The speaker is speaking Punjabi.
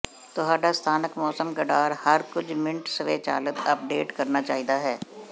ਤੁਹਾਡਾ ਸਥਾਨਕ ਮੌਸਮ ਰਾਡਾਰ ਹਰ ਕੁਝ ਮਿੰਟ ਸਵੈਚਾਲਤ ਅਪਡੇਟ ਕਰਨਾ ਚਾਹੀਦਾ ਹੈ